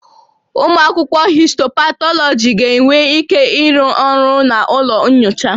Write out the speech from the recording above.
Ụmụ akwụkwọ histopathology ga-enwe ike ịrụ ọrụ na ụlọ nyocha